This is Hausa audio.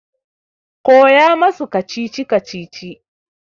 Koya masu kacici-kacici!